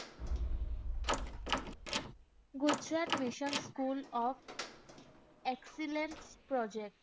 Gujarat mission school of excellence project.